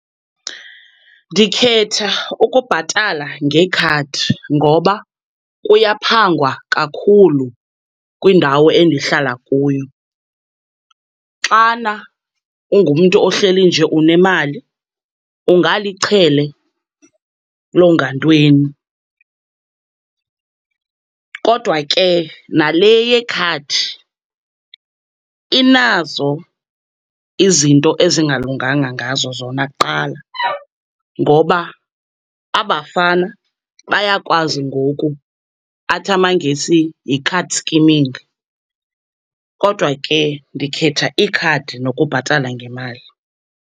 Ndikhetha ukubhatala ngekhadi ngoba kuyaphangwa kakhulu kwindawo endihlala kuyo. Xana ungumntu ohleli nje unemali, ungalichele loongantweni. Kodwa ke nale yekhadi inazo izinto ezingalunganga ngazo zona kuqala, ngoba aba bafana bayakwazi ngoku, athi amangesi yi-card scheming. Kodwa ke ndikhetha ikhadi nokubhatala ngemali.